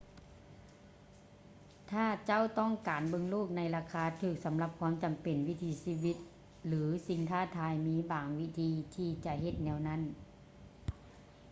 ຖ້າເຈົ້າຕ້ອງການເບິ່ງໂລກໃນລາຄາຖືກສຳລັບຄວາມຈຳເປັນ ວິຖີຊີວິດ ຫຼື ສິ່ງທ້າທາຍ ມີບາງວິທີທີ່ຈະເຮັດແນວນັ້ນ